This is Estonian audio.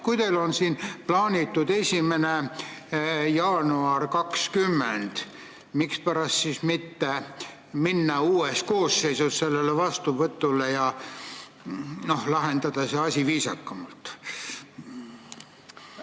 Kui teil on siin plaanitud jõustamise ajaks 1. jaanuar 2020, miks siis mitte asuda uues koosseisus seda vastu võtma ja lahendada asi viisakamalt?